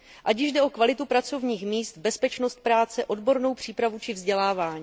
Ať již jde o kvalitu pracovních míst, bezpečnost práce, odbornou přípravu či vzdělávání.